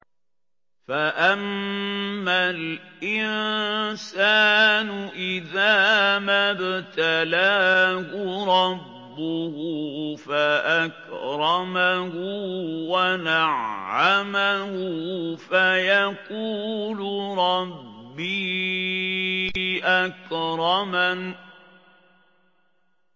فَأَمَّا الْإِنسَانُ إِذَا مَا ابْتَلَاهُ رَبُّهُ فَأَكْرَمَهُ وَنَعَّمَهُ فَيَقُولُ رَبِّي أَكْرَمَنِ